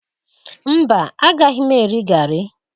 Mba, agaghị m eri garri